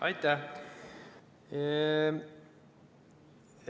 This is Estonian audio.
Aitäh!